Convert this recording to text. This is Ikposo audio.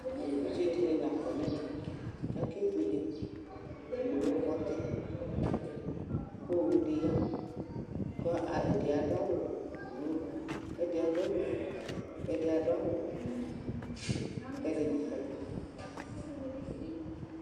Evidze dɩnɩ la kɔ nʋ ɛmɛ kʋ akebuele nʋ owufɔtɩ kʋ owu dɩ ya kʋ ɛdɩ adʋ awʋblu kʋ ɛdɩ adʋ awʋfue kʋ ɛdɩ adʋ awʋvɛ, kʋ ɛdɩnɩ kɔ nʋ ɛfɛ